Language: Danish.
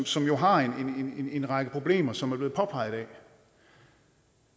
som jo har en en række problemer som er blevet påpeget